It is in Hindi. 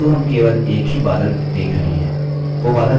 किन्तु हम केवल एक ही बादल देख रहे हैं!